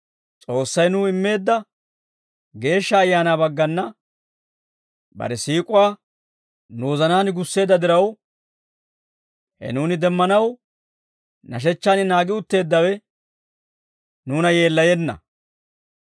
S'oossay nuw immeedda Geeshsha Ayaanaa baggana bare siik'uwaa nu wozanaan gusseedda diraw, he nuuni demmanaw nashechchaan naagi utteeddawe nuuna yeellayenna.